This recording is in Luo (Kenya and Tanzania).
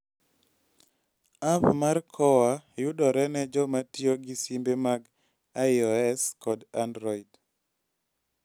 App mar KOA yudore ne joma tiyo gi simbe mag iOS kod Android.